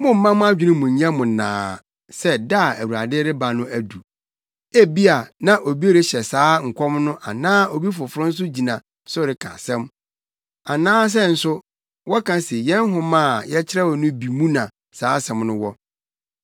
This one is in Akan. mommma mo adwene mu nnyɛ mo nnaa sɛ da a Awurade reba no adu. Ebia na obi rehyɛ saa nkɔm no anaa obi foforo nso gyina so reka asɛm. Anaasɛ nso wɔka se yɛn nhoma a yɛkyerɛwee no bi mu na saa asɛm no wɔ.